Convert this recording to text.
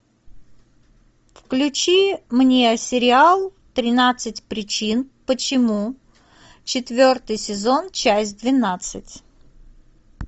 включи мне сериал тринадцать причин почему четвертый сезон часть двенадцать